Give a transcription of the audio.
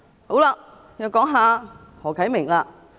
好了，我又談談何啟明議員。